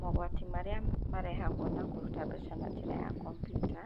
Mogwati marĩa marehagwo na kũruta mbeca na njĩra ya kompiuta,